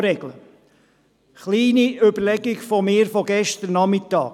Eine kleine Überlegung meinerseits vom gestrigen Nachmittag: